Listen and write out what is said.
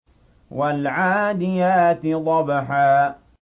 وَالْعَادِيَاتِ ضَبْحًا